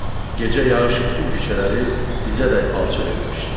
Gecə yağış bütün küçələri dizə dəyən palçıq etmişdi.